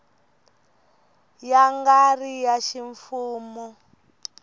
ya nga ri ya ximfumo